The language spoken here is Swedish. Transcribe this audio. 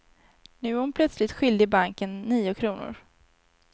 Nu är hon plötsligt skyldig banken nio kronor.